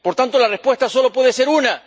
Por tanto, la respuesta solo puede ser una.